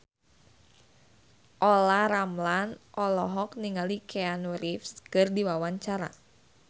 Olla Ramlan olohok ningali Keanu Reeves keur diwawancara